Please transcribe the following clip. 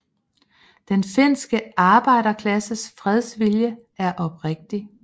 Den finske arbejderklasses fredsvilje er oprigtig